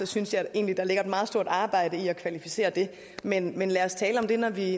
synes jeg egentlig der ligger et meget stort arbejde i at kvalificere det men men lad os tale om det når vi